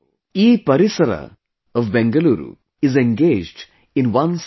EParisaraa of Bengaluru is engaged in one such effort